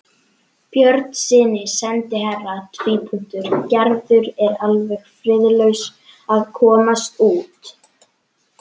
Björnssyni sendiherra: Gerður er alveg friðlaus að komast út.